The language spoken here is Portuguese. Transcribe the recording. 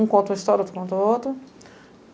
Um conta uma história, outro conta outra.